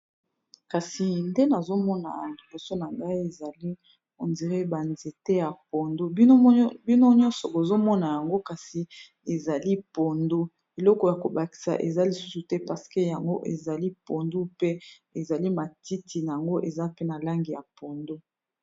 kasi nde nazomona liboso na ngai ezali ondire banzete ya pondo bino nyonso bozomona yango kasi ezali pondo eloko ya kobakisa eza lisusu te paseke yango ezali pondo pe ezali matiti yango eza pe na lange ya pondo